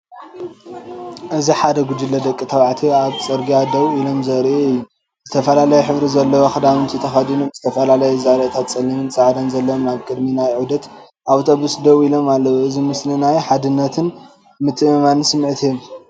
እዚ ሓደ ጉጅለ ደቂ ተባዕትዮ ኣብ ጽርግያ ደው ኢሎም ዘርኢ እዩ። ዝተፈላለየ ሕብሪ ዘለዎ ክዳውንቲ ተኸዲኖም። ዝተፈላለየ ዛንታታት ጸሊምን ጻዕዳን ዘለዎም ኣብ ቅድሚ ናይ ዑደት ኣውቶቡስ ደው ኢሎም ኣለዉ። እዚ ምስሊ እዚ ናይ ሓድነትን ምትእምማንን ስምዒት ይህብ።